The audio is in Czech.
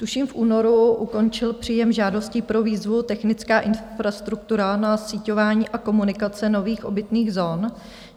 Tuším v únoru končil příjem žádostí pro výzvu Technická infrastruktura na síťování a komunikace nových obytných zón.